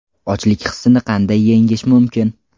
Ochlik hissini qanday yengish mumkin?.